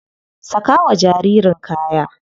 Saka wa jaririn kaya.